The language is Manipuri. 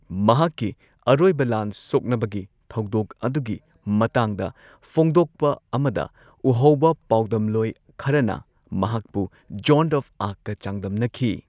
ꯃꯍꯥꯛꯀꯤ ꯑꯔꯣꯏꯕ ꯂꯥꯟ ꯁꯣꯛꯅꯕꯒꯤ ꯊꯧꯗꯣꯛ ꯑꯗꯨꯒꯤ ꯃꯇꯥꯡꯗ ꯐꯣꯛꯗꯣꯛꯄ ꯑꯃꯗ, ꯎꯍꯧꯕ ꯄꯥꯎꯗꯝꯂꯣꯏ ꯈꯔꯅ ꯃꯍꯥꯛꯄꯨ ꯖꯣꯟ ꯑꯣꯐ ꯑꯥꯔ꯭ꯛꯀ ꯆꯥꯡꯗꯝꯅꯈꯤ꯫